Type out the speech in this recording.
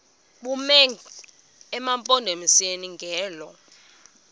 bume emampondomiseni ngelo